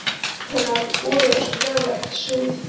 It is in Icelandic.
Orð hennar voru eins og fjarlægt suð.